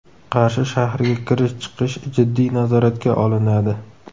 Qarshi shahriga kirish-chiqish jiddiy nazoratga olinadi.